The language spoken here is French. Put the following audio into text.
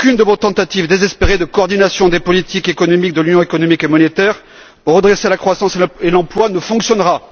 Aucune de vos tentatives désespérées de coordination des politiques économiques de l'Union économique et monétaire pour redresser la croissance et l'emploi ne fonctionnera.